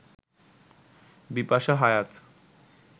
Bipasha Hayat